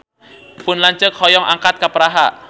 Pun lanceuk hoyong angkat ka Praha